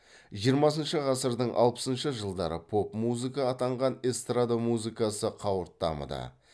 жиырмасыншы ғасырдың алпысыншы жылдары поп музыка атанған эстрада музыкасы қауырт дамыды